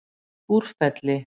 Búrfelli